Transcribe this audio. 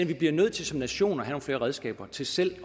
vi bliver nødt til som nation at have nogle flere redskaber til selv